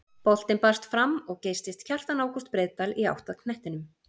Boltinn barst fram og geystist Kjartan Ágúst Breiðdal í átt að knettinum.